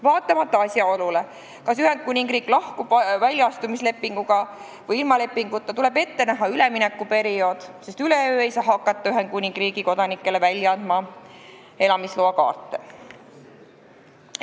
Vaatamata asjaolule, kas Ühendkuningriik lahkub väljaastumislepinguga või ilma lepinguta, tuleb ette näha üleminekuperiood, sest üleöö ei saa hakata Ühendkuningriigi kodanikele välja andma elamisloakaarte.